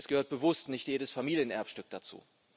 Es gehört bewusst nicht jedes Familienerbstück dazu.